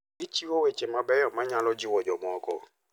Gichiwo weche mabeyo manyalo jiwo jomoko.